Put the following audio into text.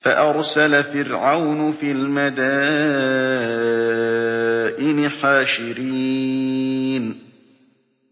فَأَرْسَلَ فِرْعَوْنُ فِي الْمَدَائِنِ حَاشِرِينَ